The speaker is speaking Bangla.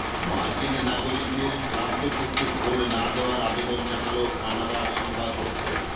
মার্কিন নাগরিকদের ট্রাম্পের পক্ষে ভোট না দেওয়ার আবেদন জানাল কানাডার সংবাদপত্র